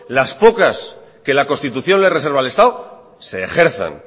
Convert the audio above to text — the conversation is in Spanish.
las pocas que la constitución le reserva al estado se ejerzan